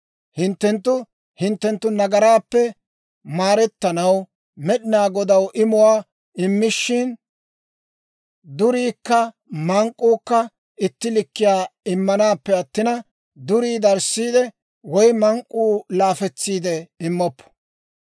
Hinttenttu hinttenttu nagaraappe maarettanaw Med'inaa Godaw imuwaa immishin, duriikka mank'k'uukka itti likkiyaa immanaappe attina, durii darissiide woy mank'k'uu laafetsiidde immoppo.